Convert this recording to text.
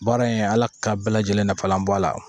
Baara in ala ka bɛɛ lajɛlen nafalan b'a la